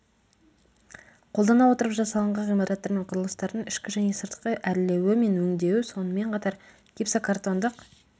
қолдана отырып жасалынған ғимараттар мен құрылыстардың ішкі және сыртқы әрлеуі мен өңдеуі сонымен қатар гипсокартондық